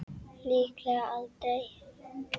Líklega aldrei.